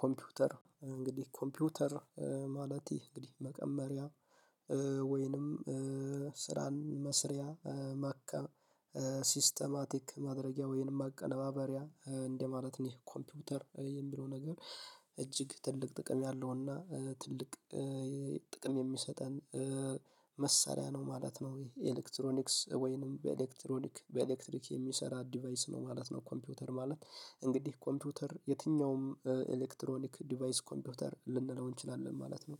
ኮምፒውተር እንግዲህ ኮምፒውተር ማለት ይህ እንግዲህ መቀመሪያ ወይንም ስራን መስሪያ ማካ ሲስተማቲክ ማድረጊያ ወይንም ማቀናበሪያ እንደማለት ነው ኮምፒውተር የሚለው ነገር እጅግ ትልቅ ጥቅም ያለውና ትልቅ ጥቅም የሚሰጠን መሳሪያ ነው ማለት ነው። ይሄ ኤሌክትሮኒክስ ወይንም በኤሌክትሮኒክ በኤሌክትሪክ የሚሰራ ዲቫይስ ነው ማለት ነው። ኮምፒውተር ማለት እንግዲህ ኮምፒውተር የትኛውም ኤሌክትሮኒክ ዲቫይስ ኮምፒውተር ልንለው እንችላለን ማለት ነው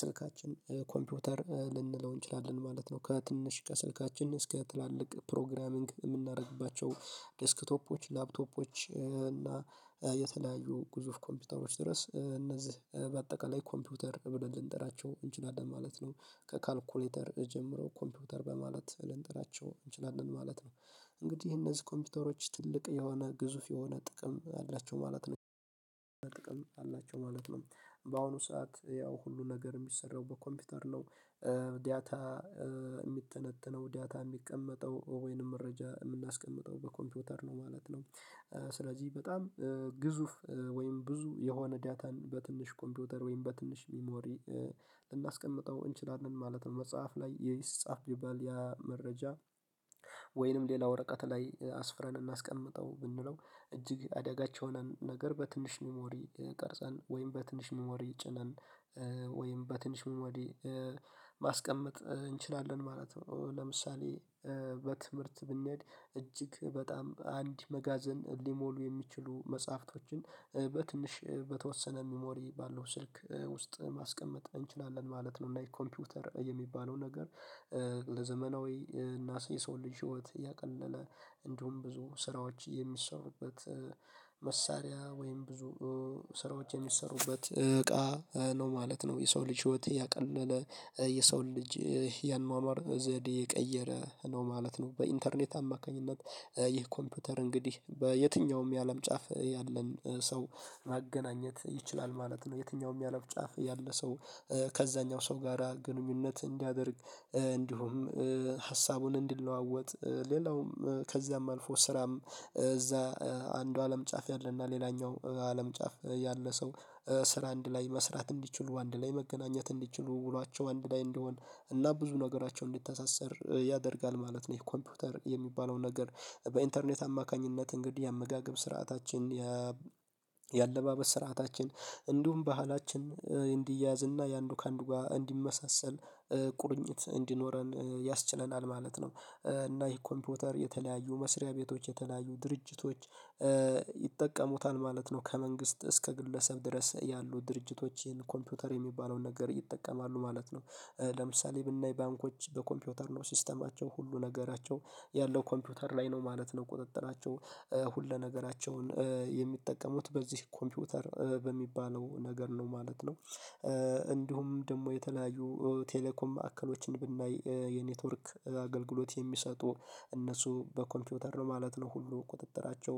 ስልካችን ኮምፒውተር ልንለው እንችላለን ማለት ነው። ከትንሽ ከስልካችን እስከ ትላልቅ ፕሮግራሚንግ የምናደርግባቸው ዴስክቶፖች ላፕቶፖች እና የተለያዩ ግዙፍ ኮምፒውተሮች ድረስ እነዚህ በአጠቃላይ ኮምፒውተር ብለን ልንጠራቸው እንችላለን ማለት ነው። ከካልኩሌተር ጀምረው ኮምፒውተር በማለት ልንጠራቸው እንችላለን ማለት ነው። እንግዲህ እነዚህ ኮምፒውተሮች ትልቅ የሆነ ግዙፍ የሆነ ጥቅም አላቸው ማለት ነው አላቸው ማለት ነው። በአሁኑ ሰዓት ያው ሁሉ ነገር የሚሰራው በኮምፒውተር ነው ዲታ እሚተነተነው ዳታ የሚቀመጠው ወይንም መረጃ የምናስቀምጠው በኮምፒውተር ነው ማለት ነው። ስለዚህ በጣም ግዙፍ ወይም ብዙ የሆነ ዳታን በትንሽ ኮምፒውተር ወይም በትንሽ ሚሞሪ ልናስቀምጠው እንችላለን ማለት ነው። መጽሐፍ ላይ የይስ ጻፍ ቢባል ያ መረጃ ወይንም ሌላ ወረቀት ላይ አስፍረን እናስቀምጠው ብንለው እጅግ አደጋች የሆነን ነገር በትንሽ ኒሞሪ ቀርጸን ወይም በትንሽ ሚሞሪይ ጭነን ወይም በትንሽ ሚሞሪ ማስቀመጥ እንችላለን ማለት ነው። ለምሳሌ በትምህርት ብንሄድ እጅግ በጣም አንድ መጋዘን ሊሞሉ የሚችሉ መጽሐፍቶችን በትንሽ በተወሰነ ሚሞሪ ባለው ስልክ ውስጥ ማስቀመጥ እንችላለን ማለት ነው። እና የኮምፒውተር የሚባለው ነገር ለዘመናዊ እና የሰው ልጅ ህይወት ያቀለለ እንዲሁም ብዙ ስራዎች የሚሰሩበት መሳሪያ ወይም ብዙ ስራዎች የሚሰሩበት እቃ ነው ማለት ነው የሰው ልጅ ህይወት ያቀለለ የሰው ልጅ ያኗኗር ዘዴ የቀየረ ነው ማለት ነው። በኢንተርኔት አማካኝነት ይህ ኮምፒውተር እንግዲህ በየትኛውም የአለም ጫፍ ያለን ሰው ማገናኘት ይችላል ማለት ነው። የትኛውም የአለም ጫፍ ያለ ሰው ከዛኛው ሰው ጋራ ግንኙነት እንዲያደርግ እንዲሁም ሀሳቡን እንዲለዋወጥ ሌላውም ከዚያም አልፎ ስራም እዛ አንዱ አለም ጫፍ ያለና ሌላኛው አለም ጫፍ ያለ ሰው ስራ አንድ ላይ መስራት እንዲችሉ አንድ ላይ መገናኘት እንዲችሉ ውሏቸው አንድ ላይ እንዲሆን እና ብዙ ነገራቸው እንዲተሳሰር ያደርጋል ማለት ነው። ይህ ኮምፒውተር የሚባለው ነገር በኢንተርኔት አማካኝነት እንግዲህ የአመጋገብ ስርዓታችን የአለባበስ ስርዓታችን እንዲሁም ባህላችን እንዲያያዝ እና የአንዱ ከአንዱ ጋር እንዲመሳሰል ቁርኝት እንዲኖረን ያስችለናል ማለት ነው። እና ይህ ኮምፒውተር የተለያዩ መስሪያ ቤቶች የተለያዩ ድርጅቶች ይጠቀሙታል ማለት ነው። ከመንግስት እስከ ግለሰብ ድረስ ያሉ ድርጅቶች ይሄን ኮምፒውተር የሚባለውን ነገር ይጠቀማሉ ማለት ነው። ለምሳሌ ብናይ ባንኮች በኮምፒውተር ነው ሲስተማቸው ሁሉ ነገራቸው ያለው ኮምፒውተር ላይ ነው ማለት ነው ቁጥጥራቸው ሁለ ነገራቸውን የሚጠቀሙት በዚህ ኮምፒውተር በሚባለው ነገር ነው ማለት ነው። እንዲሁም ደግሞ የተለያዩ ቴሌኮም ማዕከሎችን ብናይ የኔትወርክ አገልግሎት የሚሰጡ እነሱ በኮምፒውተር ነው ማለት ነው ሁሉ ቁጥጥራቸው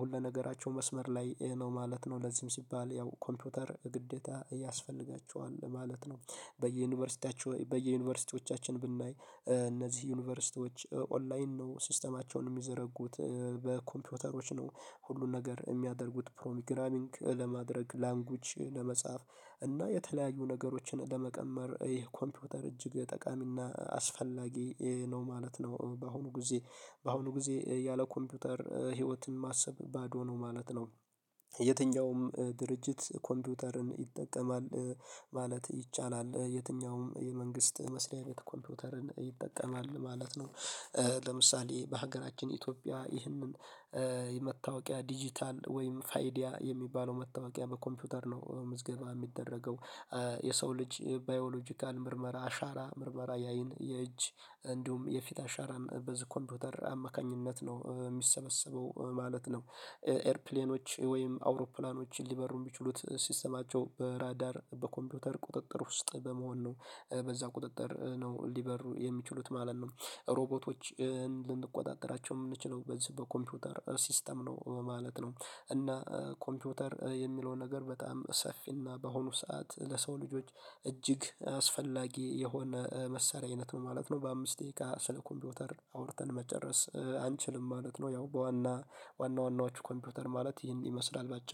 ሁለነገራቸው መስመር ላይ ነው ማለት ነው። ለዚህም ሲባል ያው ኮምፒውተር ግዴታ ያስፈልጋቸዋል ማለት ነው። በየዩኒቨርሲቲያችሁ በየዩኒቨርሲቲዎቻችን ብናይ እነዚህ ዩኒቨርሲቲዎች ኦንላይን ነው ሲስተማቸውን የሚዘረጉት በኮምፒውተሮች ነው ሁሉን ነገር የሚያደርጉት ፕሮግራሚንግ ለማድረግ ላንጉጅ ለመጻፍ እና የተለያዩ ነገሮችን ለመቀመር ይህ ኮምፒውተር እጅግ ጠቃሚና አስፈላጊ ነው ማለት ነው። በአሁኑ ጊዜ በአሁኑ ጊዜ ያለ ኮምፒውተር ህይወትን ማሰብ ባዶ ነው ማለት ነው። የትኛውም ድርጅት ኮምፒውተርን ይጠቀማል ማለት ይቻላል የትኛውም የመንግስት መስሪያ ቤት ኮምፒውተርን ይጠቀማል ማለት ነው። ለምሳሌ በሀገራችን ኢትዮጵያ ይህንን ዲጂታል ወይም ፋይዲያ የሚባለው መታወቂያ በኮምፒውተር ነው ምዝገባ የሚደረገው የሰው ልጅ ባዮሎጂካል ምርመራ አሻራ ምርመራ የአይን የእጅ እንዲሁም የፊት አሻራን በዚ ኮፒዉተር አማካኝነት ነው የሚሰበሰበው ማለት ነው። ኤርፕሌኖች ወይም አውሮፕላኖችን ሊበሩ የሚችሉት ሲስተማቸው በራዳር በኮምፒውተር ቁጥጥር ውስጥ በመሆን ነው በዛ ቁጥጥር ነው ሊበሩ የሚችሉት ማለት ነው። ሮቦቶችን ልንቆጣጠራቸው የምንችለው በዚህ በኮምፒውተር ሲስተም ነው ማለት ነው። እና ኮምፒውተር የሚለውን ነገር በጣም ሰፊና በአሁኑ ሰዓት ለሰው ልጆች እጅግ አስፈላጊ የሆነ መሳሪያ አይነት ነው ማለት ነው። በአምስት ደቂቃ ስለ ኮምፒውተር አውርተን መጨረስ አንችልም ማለት ነው ያው በዋና ዋና ዋናዎቹ ኮምፒውተር ማለት ይህን ይመስላል በአጭሩ